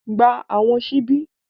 Gba Àwọn ṣíbí!